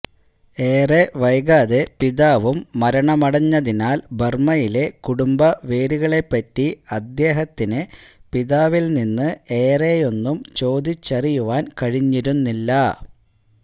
ഏറെ വൈകാതെ പിതാവും മരണമടഞ്ഞതിനാൽ ബർമയിലെ കുടുംബ വേരുകളെപ്പറ്റി അദ്ദേഹത്തിന് പിതാവിൽ നിന്ന് ഏറെയൊന്നും ചോദിച്ചറിയുവാൻ കഴിഞ്ഞിരുന്നില്ല